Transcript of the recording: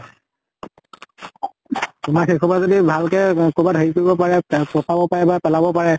তোমাৰ সেই খোপা যদি ভাল কে অ কবাত হেৰি কৰিব পাৰে ত্ৰেন্চ পচাব পাৰে বা পেলাব পাৰে,